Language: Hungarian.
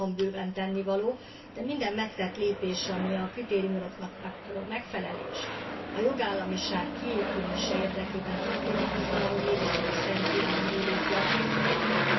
Van bőven tennivaló, de minden megtett lépés, ami a kritériumoknak való megfelelés, a jogállamiság kiépülése érdekében történik, az valahol mégis csak a Szerbiában élők javát szolgálja.